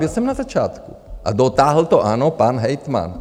Byl jsem na začátku a dotáhl to, ano, pan hejtman.